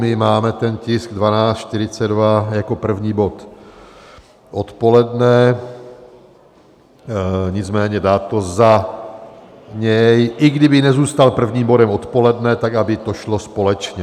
My máme ten tisk 1242 jako první bod odpoledne, nicméně dát to za něj - i kdyby nezůstal prvním bodem odpoledne, tak aby to šlo společně.